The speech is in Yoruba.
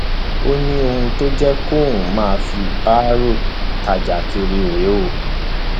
ó ní ohun tó jẹ kóun máa fi báárò tajà kiri rèé o